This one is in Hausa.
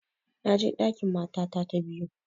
Na je ɗakin matata ta biyu